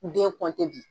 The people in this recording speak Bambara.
Den kɔntan